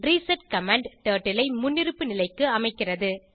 reset command turtle ஐ முன்னிருப்பு நிலைக்கு அமைக்கிறது